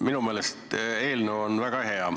Minu meelest on eelnõu väga hea.